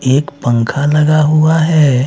एक पंखा लगा हुआ हैं।